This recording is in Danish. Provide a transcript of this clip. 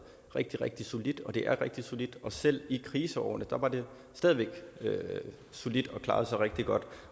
rigtig rigtig solidt og det er rigtig solidt og selv i kriseårene var det stadig væk solidt og klarede sig rigtig godt